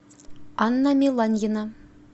анна меланьина